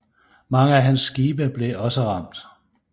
Mange af hans andre skibe blev også ramt